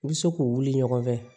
U bɛ se k'u wuli ɲɔgɔn fɛ